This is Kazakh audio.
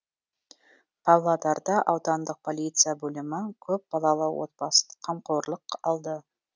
павлодарда аудандық полиция бөлімі көпбалалы отбасын қамқорлыққа алды